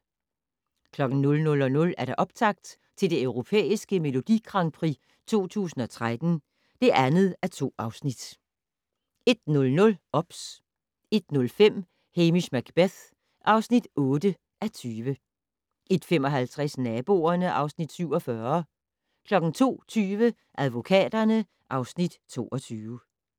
00:00: Optakt til det Europæiske Melodi Grand Prix 2013 (2:2) 01:00: OBS 01:05: Hamish Macbeth (8:20) 01:55: Naboerne (Afs. 47) 02:20: Advokaterne (Afs. 22)